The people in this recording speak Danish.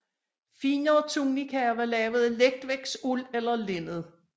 Finere tunikaer var lavet af letvægtsuld eller linned